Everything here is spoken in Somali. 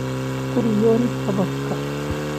Ha ku riyoon hababka